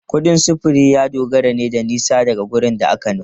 Kudin sufuri ya dogara ne da nisa daga wurin da aka nufa.